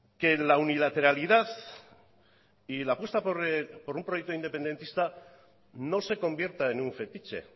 que la unilateralidad y la apuesta por un proyecto independentista no se convierta en un fetiche